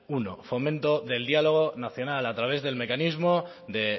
uno fomento del diálogo nacional a través del mecanismo de